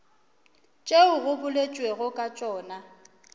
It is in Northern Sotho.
tšeo go boletšwego ka tšona